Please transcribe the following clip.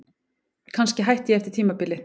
Kannski hætti ég eftir tímabilið.